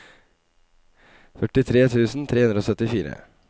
førtitre tusen tre hundre og syttifire